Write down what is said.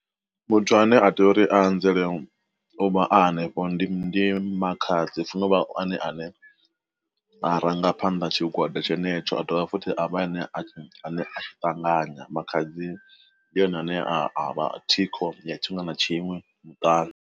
Muthu ane a tea uri a nzele u vha a hanefho ndi makhadzi hu funo vha ene a ne a rangaphanda tshigwada tshenetsho a dovha futhi a vha a ne a ṱanganya, makhadzi ndi ene ane a vha thiko ya tshiṅwe na tshiṅwe muṱani.